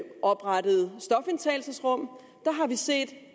oprettet stofindtagelsesrum har vi set